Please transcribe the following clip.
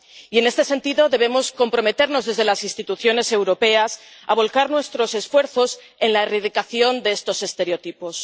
Y, en este sentido, debemos comprometernos desde las instituciones europeas a volcar nuestros esfuerzos en la erradicación de estos estereotipos.